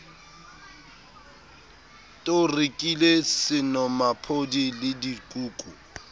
t o rekile senomaphodi ledikuku